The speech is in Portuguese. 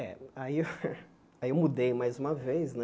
É, aí eu aí eu mudei mais uma vez né.